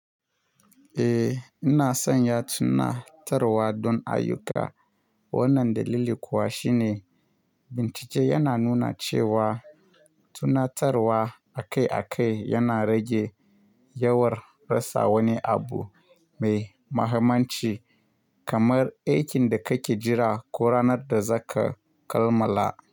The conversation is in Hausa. Eh ina son ya tuna tarwa don ayyuka. Wannan dalili kuwa shine, bincike yana nuna cewa tunatarwa akai-akai yana rage yawar rasa wani abu mai mahimmanci kamar aikin da kake jira ko ranar da za ka kammala.